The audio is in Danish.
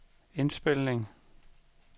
indspilning